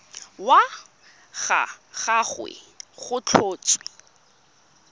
wa ga gagwe go tlhotswe